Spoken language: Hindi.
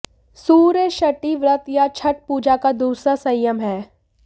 सूर्य षष्ठी व्रत या छठ पूजा का दूसरा संयम है